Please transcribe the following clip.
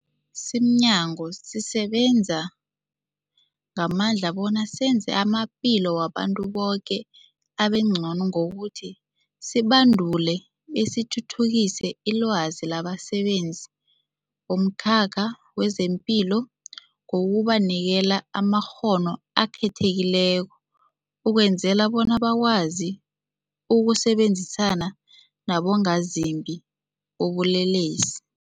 Simnyango, sisebenza ngamandla bona senze amaphilo wabantu boke abengcono ngokuthi sibandule besithuthukise ilwazi labasebenzi bomkhakha wezamaphilo ngokubanikela amakghono akhethekileko ukwenzela bona bakwazi ukusebenzisana nabongazimbi bobulelesi.